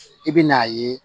I bɛn'a ye